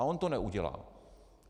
A on to neudělá.